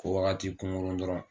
Ko wagati kunkunrun dɔrɔn